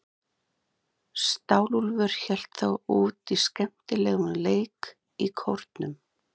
Stálúlfur hélt þó út í skemmtilegum leik í Kórnum.